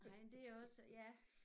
Nej men det er også ja